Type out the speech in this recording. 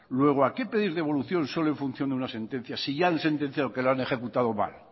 luego a qué pedir devolución solo en función de una sentencia si ya han sentenciado que lo han ejecutado mal